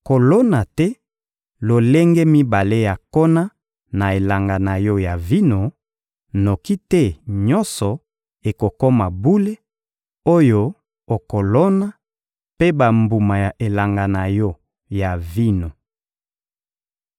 Kolona te lolenge mibale ya nkona na elanga na yo ya vino; noki te nyonso ekokoma bule: oyo okolona mpe bambuma ya elanga na yo ya vino.